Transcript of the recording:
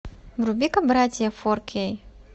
вруби ка братья фор кей